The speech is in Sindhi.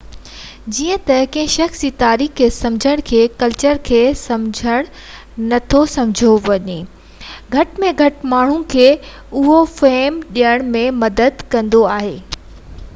جڏهن ته ڪنهن شخص جي تاريخ کي سمجهڻ کي ڪلچر کي سمجھڻ نٿو سمجهيو وڃي اهو گهٽ ۾ گهٽ ماڻهن کي اهو فهم ڏيڻ ۾ مدد ڪندو آهي ته اهي تنظيم جي تاريخ ۾ ڪٿي اچن ٿا